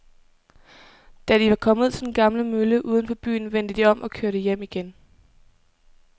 Da de var kommet ud til den gamle mølle uden for byen, vendte de om og kørte hjem igen.